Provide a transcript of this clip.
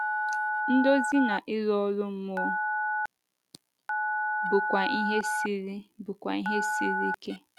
Ndozi na ịrụ ọrụ mmụọ bụkwa ihe siri bụkwa ihe siri ike.